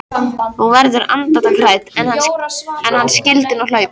Hún verður andartak hrædd: Ef hann skyldi nú hlaupa.